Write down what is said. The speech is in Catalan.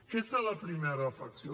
aquesta és la primera reflexió